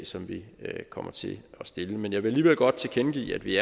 som vi kommer til at stille men jeg vil alligevel godt tilkendegive at vi